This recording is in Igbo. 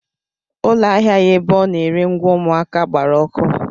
Ụlọ ahịa ya ebe ọ na-ere ngwa ụmụaka gbara ọkụ.